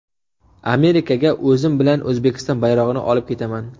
Amerikaga o‘zim bilan O‘zbekiston bayrog‘ini olib ketaman.